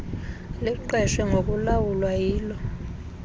liqeshwe ngokulawula yilo